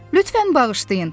"Lütfən bağışlayın."